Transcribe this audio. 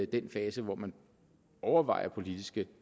den fase hvor man overvejer politiske